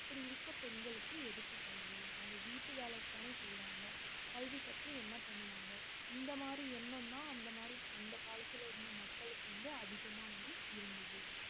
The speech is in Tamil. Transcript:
அப்படி இருக்க பெண்களுக்கு எதுக்கு கல்வி அவங்க வீட்டு வேலை தானே செய்யுறாங்க கல்வி கற்று என்ன பண்ணுவாங்க இந்த மாதிரி எண்ணம்தான் அந்த மாதிரி அந்த காலத்துல இருந்த மக்களுக்கு வந்து அதிகமா வந்து இருந்தது